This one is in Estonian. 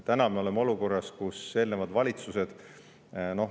Täna me oleme olukorras, kus eelnevad valitsused …